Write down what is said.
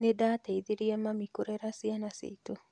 Nĩ ndateithirie mami kurera ciana citu